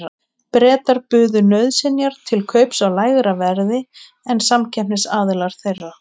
Bretar buðu nauðsynjar til kaups á lægra verði en samkeppnisaðilar þeirra.